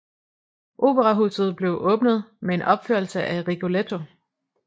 Operahuset blev åbnet med en opførelse af Rigoletto